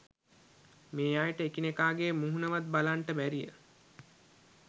මේ අයට එකිනෙකාගේ මුහුණවත් බලන්නට බැරිය.